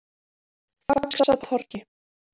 Faxatorgi